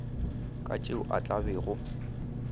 ka tšeo a tla bego